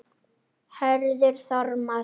Hörður Þormar.